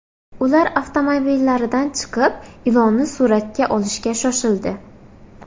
Ular avtomobillaridan chiqib, ilonni suratga olishga shoshildi.